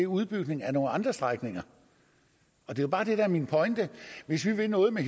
udbygning af nogle andre strækninger det er bare det der er min pointe hvis vi vil noget med